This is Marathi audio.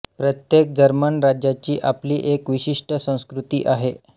प्रत्येक जर्मन राज्याची आपली एक विशिष्ट संस्कृती आहे